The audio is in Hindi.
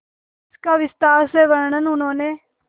इसका विस्तार से वर्णन उन्होंने